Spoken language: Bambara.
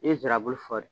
I ye nsirabulu fɔ